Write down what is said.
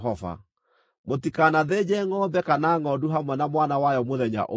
Mũtikanathĩnje ngʼombe kana ngʼondu hamwe na mwana wayo mũthenya ũmwe.